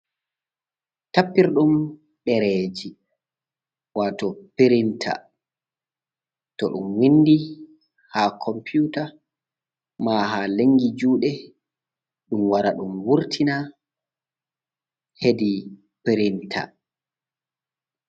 Tappirɗum ɗereji wato pirinta. To ɗum windi ha komputa, ma haa lengi juɗe ɗum wara ɗum wurtina hedi pirinta.